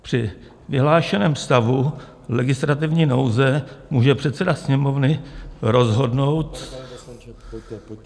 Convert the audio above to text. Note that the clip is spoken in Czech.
Při vyhlášeném stavu legislativní nouze může předseda Sněmovny rozhodnout...